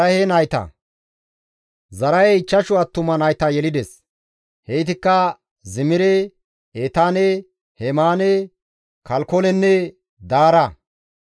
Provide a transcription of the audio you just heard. Zaraahey ichchashu attuma nayta yelides; heytikka Zimire, Etaane Hemaane, Kalkolenne Daara.